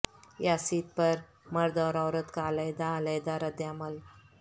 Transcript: یاسیت پر مرد اور عورت کا علیحدہ علیحدہ رد عمل